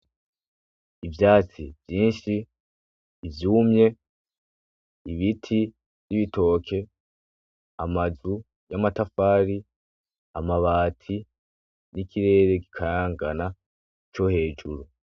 Ivyansi vyinshi, vyumye, ibiti vy'ibitoke, amazu y'amatafari, amabati, n'ikirere kikayangana co hejuru.